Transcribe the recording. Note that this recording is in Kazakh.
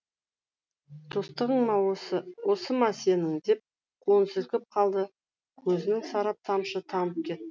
достығың осы ма сенің деп қолын сілкіп қалды көзінен сараң тамшы тамып кетті